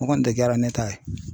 O kɔni tɛ kɛra ne ta ye.